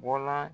Bɔla